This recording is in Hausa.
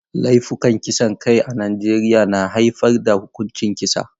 Laifukan kisan kai a Najeriya na haifar da huƙuncin kisa.